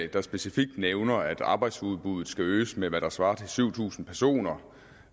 der specifikt nævner at arbejdsudbuddet skal øges med hvad der svarer til syv tusind personer